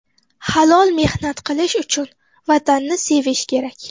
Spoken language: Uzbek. Halol mehnat qilish uchun Vatanni sevish kerak.